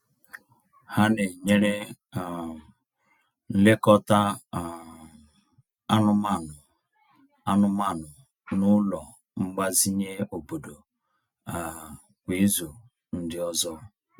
Ha na-enyere um nlekọta um anụmanụ anụmanụ n’ụlọ mgbazinye obodo um kwa ịzu ndi ọzọ.